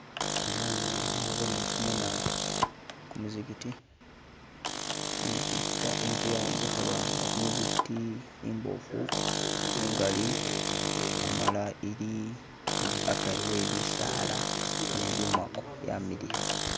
Anano nabone kumuzikiti, inzu yayombekhebwa nga kumuzikiti imbofu ingali amala ili akari webisala ne lumako, byamiliya.